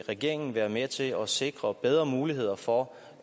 regeringen være med til at sikre bedre muligheder for